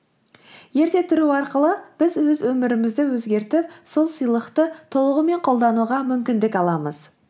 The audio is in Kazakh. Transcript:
ерте тұру арқылы біз өз өмірімізді өзгертіп сол сыйлықты толығымен қолдануға мүмкіндік аламыз